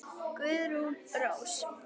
Guðrún Rós.